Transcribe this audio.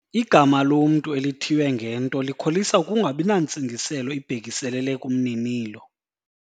Igama lomntu elithiywe ngento likholisa ukungabi nantsingiselo ibhekiselele kumninilo.